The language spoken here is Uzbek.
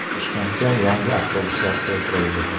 Toshkentga yangi avtobuslar keltirildi.